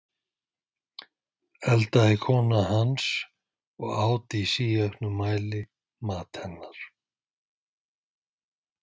eldaði kona hans, og át í síauknum mæli, mat hennar.